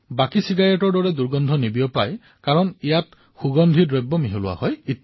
আমি ওচৰেপাজৰে দেখিছো যদি ঘৰতো পিতৃ এজন চেইন স্মকাৰ হয় তেন্তে ঘৰৰ বাকী সদস্যসকলে তেওঁক বাধা আৰোপ কৰে